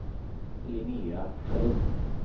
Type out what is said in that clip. Linnea Sjölin